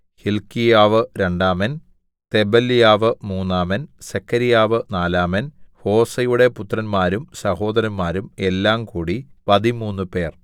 ഹില്ക്കീയാവ് രണ്ടാമൻ തെബല്യാവ് മൂന്നാമൻ സെഖര്യാവ് നാലാമൻ ഹോസയുടെ പുത്രന്മാരും സഹോദരന്മാരും എല്ലാംകൂടി പതിമൂന്നുപേർ